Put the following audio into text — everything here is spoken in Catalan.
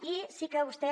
i sí que vostè